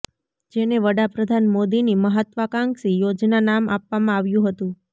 જેને વડાપ્રધાન મોદીની મહાત્વાકાંક્ષી યોજના નામ આપવામાં આવ્યું હતું